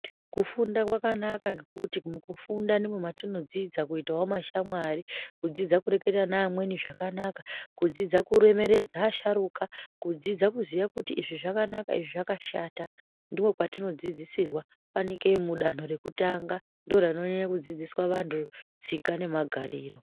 Kufunda kwakanaka ngekuti mukufunda ndimo matinodzidza kuitawo mashamwari kudzidza kureketa nevamweni zvakanaka kudzidza kuremekedza kudzidza kuti izvi zvakanaka izvi zvakashata ndopatinodzidzisirwa fanike danho rekutanga ndorononyajya kudzidzisa muntu tsika nemagariro.